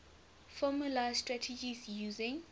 formalised strategies using